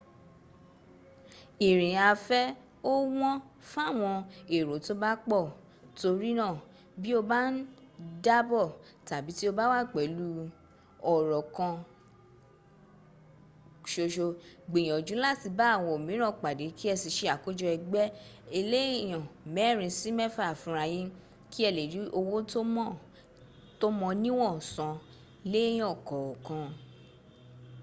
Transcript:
ìrìn afẹ́ ò wọ́n fáwọn èrò tó bá pọ̀ torínà bí o bá ń dábọ̀ tàbí tí o bá wà pẹ̀lú ọ̀rọ́ rọ kanṣoṣo gbìyànjú láti bá àwọn míìràn pàdé kí ẹ sì se àkójọ ẹgbẹ́ eléèyàn mẹ́rin sí mẹ́fà fúnrayín kí ẹ lè rí owó tó mọ níwọ̀n san léèyàn kọ̀ọ̀kan